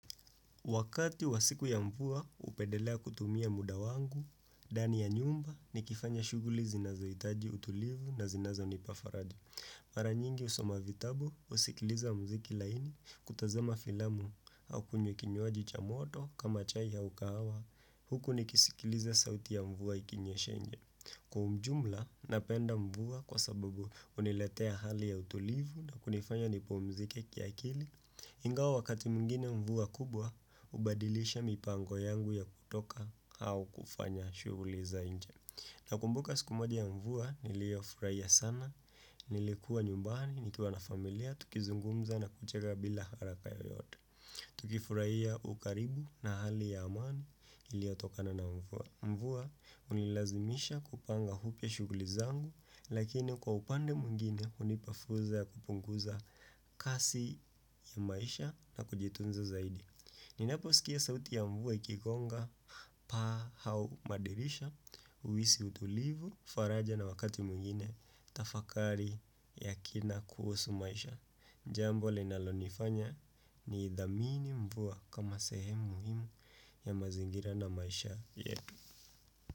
Wakati wa siku ya mvua hupendelea kutumia muda wangu, ndani ya nyumba nikifanya shughuli zinazohitaji utulivu na zinazonipa faraja. Mara nyingi husoma vitabu, husikiliza mziki laini, kutazema filamu au kunywa kinywaji cha moto kama chai ya ukahawa huku nikisikiliza sauti ya mvua ikinyesha nje. Kwa ujumla, napenda mvua kwa sababu huniletea hali ya utulivu na kunifanya nipumzike kiakili. Ingawa wakati mwingine mvua kubwa, hubadilisha mipango yangu ya kutoka au kufanya shughuli za nje. Nakumbuka siku moja ya mvua, niliofurahia sana, nilikuwa nyumbani, nikiwa na familia, tukizungumza na kucheka bila haraka yoyote. Tukifurahia ukaribu na hali ya amani iliotokana na mvua. Mvua hunilazimisha kupanga upya shughuli zangu, lakini kwa upande mwingine hunipa fursa ya kupunguza kasi ya maisha na kujitunza zaidi Ninapo sikia sauti ya mvua ikikonga paa au madirisha, uhiisi utulivu faraja na wakati mwingine tafakari ya kina kuhusu maisha Jambo linalonifanya niithamini mvua kama sehemu muhimu ya mazingira na maisha yetu.